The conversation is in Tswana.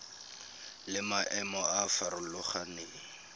le maemo a a farologaneng